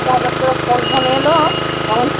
হয়তো হটাৎ করে phone phone এলো, তখন